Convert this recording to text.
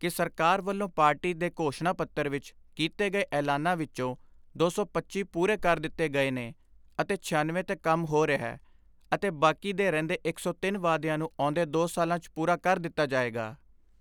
ਕਿ ਸਰਕਾਰ ਵੱਲੋਂ ਪਾਰਟੀ ਦੇ ਘੋਸ਼ਣਾ ਪੱਤਰ ਵਿਚ ਕੀਤੇ ਗਏ ਐਲਾਨਾਂ ਵਿਚੋਂ ਦੋ ਸੌ ਪੱਚੀ ਪੂਰੇ ਕਰ ਦਿੱਤੇ ਗਏ ਨੇ ਅਤੇ ਛਿਆਨਵੇਂ 'ਤੇ ਕੰਮ ਹੋ ਰਿਹੈ ਅਤੇ ਬਾਕੀ ਦੇ ਰਹਿੰਦੇ ਇੱਕ ਸੌ ਤਿੰਨ ਵਾਅਦਿਆਂ ਨੂੰ ਆਉਂਦੇ ਦੋ ਸਾਲਾਂ 'ਚ ਪੂਰਾ ਕਰ ਦਿੱਤਾ ਜਾਏਗਾ।